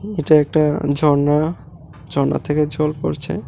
এটা একটা ঝর্ণা ঝর্ণার থেকে জল পড়ছে।